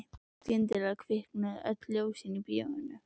Skyndilega kviknuðu öll ljósin í bíóinu.